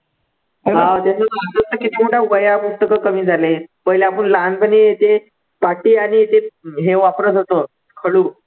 हा एक हा वह्या, पुस्तकं कमी झालेत, पहिले आपण लहानपणी ते पाटी आणि ते हे वापरतं होतो खडू